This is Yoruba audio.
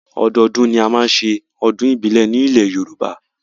Ọdọọdún ni a ó máa ṣe ọdún ìbílẹ̀ ní ilẹ̀ Yorùbá